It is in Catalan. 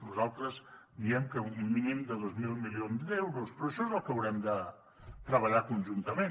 nosaltres diem que un mínim de dos mil milions d’euros però això és el que haurem de treballar conjuntament